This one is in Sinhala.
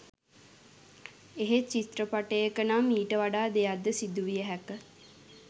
එහෙත් චිත්‍රපටයක නම් ඊට වඩා දෙයක් ද සිදුවිය හැක